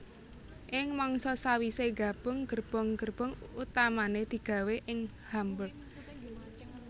Ing mangsa sawisé nggabung gerbong gerbong utamané digawé ing Hamburg